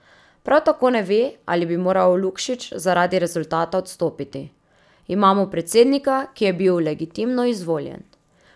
Prav tako ne ve, ali bi moral Lukšič zaradi rezultata odstopiti: 'Imamo predsednika, ki je bil legitimno izvoljen.